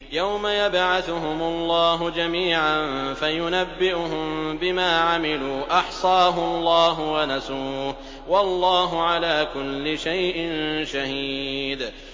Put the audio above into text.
يَوْمَ يَبْعَثُهُمُ اللَّهُ جَمِيعًا فَيُنَبِّئُهُم بِمَا عَمِلُوا ۚ أَحْصَاهُ اللَّهُ وَنَسُوهُ ۚ وَاللَّهُ عَلَىٰ كُلِّ شَيْءٍ شَهِيدٌ